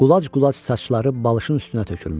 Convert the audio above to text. Qulac-qulac saçları balışın üstünə tökülmüşdü.